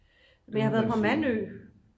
men jeg har været på mandø